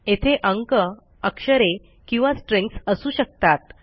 येथे अंक अक्षरे किंवा स्ट्रिंग्ज असू शकतात